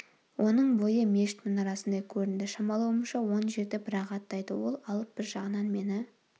оның бойы мешіт мұнарасындай көрінді шамалауымша он жерді бір-ақ аттайды ол алып бір жағынан мені